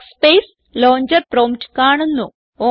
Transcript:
workspace launcher prompt കാണുന്നു